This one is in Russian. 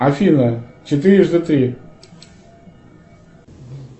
афина четырежды три